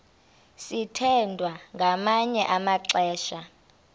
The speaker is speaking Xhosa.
sithwethwa ngamanye amaxesha